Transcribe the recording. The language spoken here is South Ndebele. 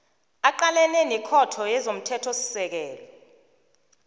aqalene nekhotho yezomthethosisekelo